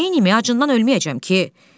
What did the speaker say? Neynim, acından ölməyəcəm ki?